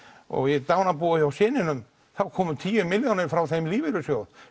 og í dánarbúinu hjá syninum þá komu tíu milljónir frá þessum lífeyrissjóð